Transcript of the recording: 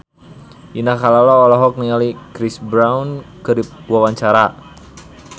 Indah Kalalo olohok ningali Chris Brown keur diwawancara